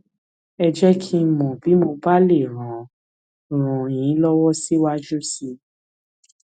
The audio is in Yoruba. ẹ jẹ kí n mọ bí mo bá lè ràn ràn yín lọwọ síwájú sí i